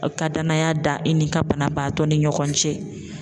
Aw ka danaya da i ni ka banabaatɔ ni ɲɔgɔn cɛ.